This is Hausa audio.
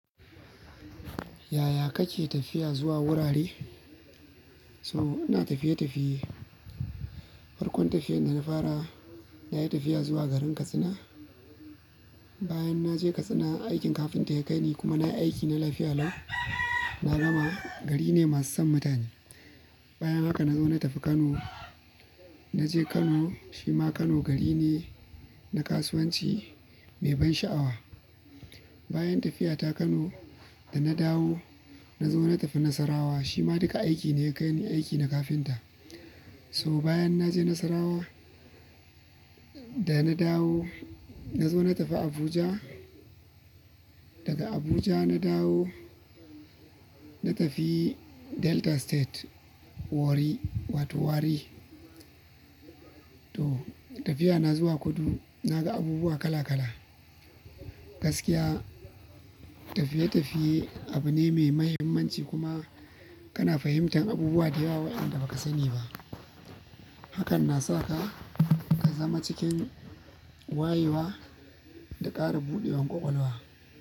Yaya kake tafiya zuwa wurare? So ina tafiye-tafiye. Farkon tafiyar dana fara nayi tafiya zuwa garin Katsina. Bayan naje Katsina aikin kafinta ya kaini, kuma nayi aikina lafiya lau na gama, gari ne masu son mutane. Bayan haka na zo na tafi Kano. Naje Kano, shima Kano garine na kasuwanci mai ban sha'awa. Bayan tafiyata Kano dana dawo, nazo na tafi Nasarawa shima duka aiki ne ya kaini aiki na kafinta. So bayan naje Nasarawa, dana dawo nazo na tafi Abuja. Daga Abuja na dawo, na tafi Delta State Warri wato Warri. Toh tafiya na zuwa kudu naga abubuwa kala kala. Gaskiya tafiye-tafiye abu ne mai mahimmanci kuma kana fahimtar abubuwa da yawa wa'inda baka sani ba. Hakan na saka, ka zama cikin wayewa da ƙara buɗewan ƙwaƙwalwa.